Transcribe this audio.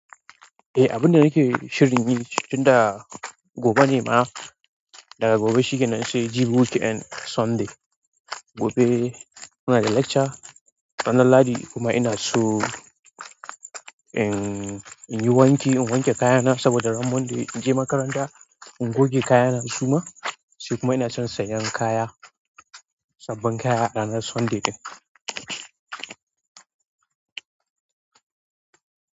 Eh, abin da nake shirin yi tunda gobe ne ma daga gobe shikenan sai jibi weekend Sunday. Gobe muna da lecture ranar lahadi kuma ina so in, in yi wanki, in wanke kayana saboda ran Monday in je makaranta. In goge kayana su ma sai kuma ina son sayan kaya, sabbin kaya ranar Sunday ɗin.